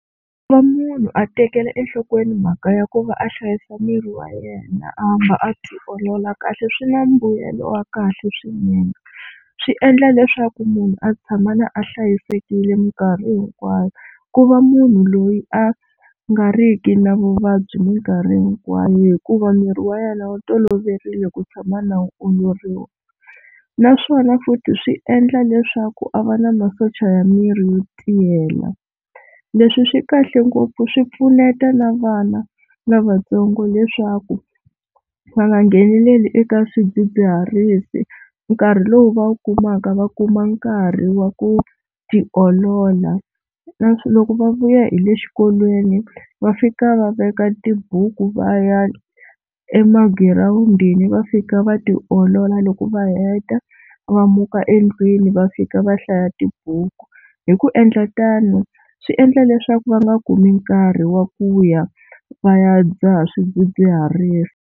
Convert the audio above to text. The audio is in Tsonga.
Ku va munhu a tekela enhlokweni mhaka ya ku va a hlayisa miri wa yena a hamba a tiolola kahle swi na mbuyelo wa kahle swinene, swi endla leswaku munhu a tshama a hlayisekile minkarhi hinkwayo ku va munhu loyi a nga riki na vuvabyi minkarhi hinkwayo hikuva miri wa yena wu toloverile ku tshama na wu oloriwa. Naswona futhi swi endla leswaku a va na masocha ya miri yo tiyela. Leswi swi kahle ngopfu swi pfuneta na vana lavatsongo leswaku va nga ngheneleli eka swidzidziharisi nkarhi lowu va wu kumaka va kuma nkarhi wa ku tiolola. Leswi loko va vuya hi le xikolweni va fika va veka tibuku va ya emagirawundi va fika va tiolola loko va heta va muka endlwini va fika va hlaya tibuku, hi ku endla tano swi endla leswaku va nga kumi nkarhi wa ku ya va ya dzaha swidzidziharisi.